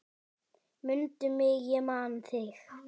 Mundu mig ég man þig.